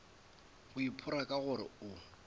o iphora ka gore o